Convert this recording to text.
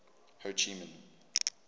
ho chi minh